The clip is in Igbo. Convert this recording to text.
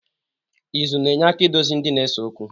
Izu na-enye aka idozili ndị na-ese okwu.